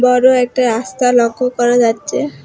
বড় একটা রাস্তা লক্ষ্য করা যাচ্ছে।